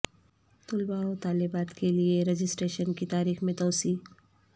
طلبہ و طالبات کے لئے رجسٹریشن کی تاریخ میں توسیع